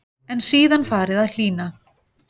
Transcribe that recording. En síðan fari að hlýna.